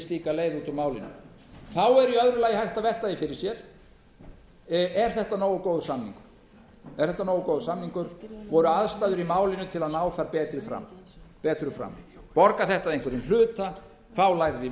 út úr málinu þá er í öðru lagi hægt að velta því fyrir sér er þetta nógu góður samningur voru aðstæður í málinu til að ná þar betra fram borgar þetta að einhverjum hluta fá lægri